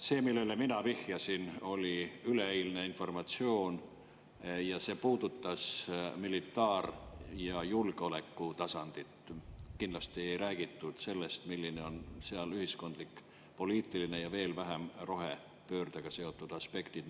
See, millele mina vihjasin, oli üleeilne informatsioon ja see puudutas militaar‑ ja julgeolekutasandit, kindlasti ei räägitud sellest, millised on seal ühiskondlikud, poliitilised ja veel vähem rohepöördega seotud aspektid.